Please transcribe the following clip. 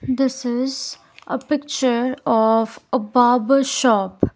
this is a picture of a barber shop.